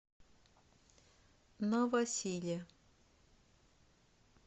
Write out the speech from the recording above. новосиле